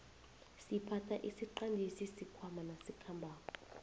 siphatha isiqandisi sikhwaama nasikhambako